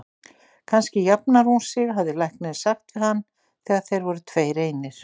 Kannski jafnar hún sig, hafði læknirinn sagt við hann þegar þeir voru tveir einir.